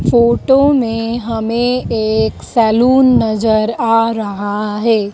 Photo में हमें एक सैलून नजर आ रहा है।